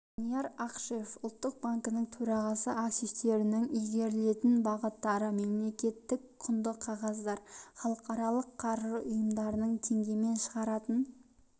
данияр ақышев ұлттық банкінің төрағасы активтерінің игерілетін бағыттары мемлекеттік құнды қағаздар халықаралық қаржы ұйымдарының теңгемен шығаратын